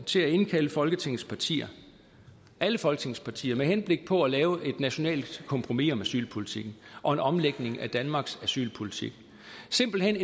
til at indkalde folketingets partier alle folketingets partier med henblik på at lave et nationalt kompromis om asylpolitikken og en omlægning af danmarks asylpolitik simpelt hen i